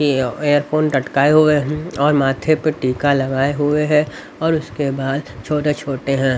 Earphone टटकाए हुए हैं और माथे पर टीका लगाए हुए हैं और उसके बाद छोटे-छोटे हैं.